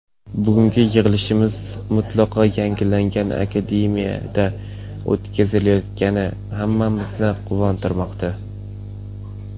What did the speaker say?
Bugungi yig‘ilishimiz mutlaqo yangilangan Akademiyada o‘tkazilayotgani hammamizni quvontirmoqda.